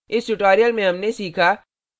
इस tutorial में हमने सीखा